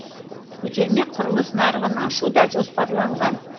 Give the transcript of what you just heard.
көтерме құрылыс нарығын ашу да жоспарланған